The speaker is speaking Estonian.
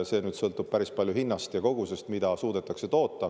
See sõltub päris palju hinnast ja kogusest, mida suudetakse toota.